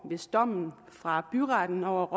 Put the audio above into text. hvis dommen fra byretten over